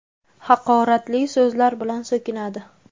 Haqoratli so‘zlar bilan so‘kinadi.